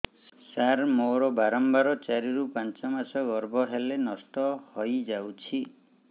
ସାର ମୋର ବାରମ୍ବାର ଚାରି ରୁ ପାଞ୍ଚ ମାସ ଗର୍ଭ ହେଲେ ନଷ୍ଟ ହଇଯାଉଛି